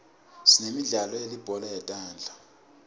sinemidlalo yelibhola letandla